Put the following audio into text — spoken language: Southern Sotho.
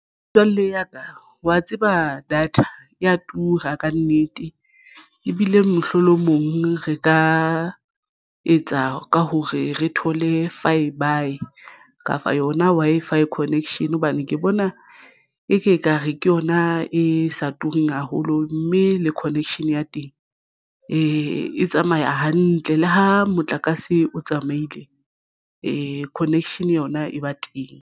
Metswalle ya ka wa tseba data ya tura ka nnete ebile mohlolomong re ka etsa ka hore re thole fibre kapa yona Wi-Fi connection hobane ke bona e ke ekare ke yona e sa tureng haholo mme le connection ya teng e tsamaya hantle le ha motlakase o tsamaile connection yona e ba teng.